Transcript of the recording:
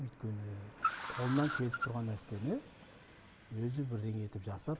өйткені қолыңнан келіп тұрған нәрсені өзі бірдеңе етіп жасап